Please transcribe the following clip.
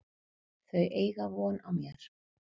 Þau eiga von á mér.